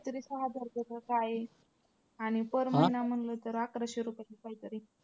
तरी सहा हजार रुपये का काही आणि per महिना म्हंटल तर अकराशे रुपये का काहीतरी.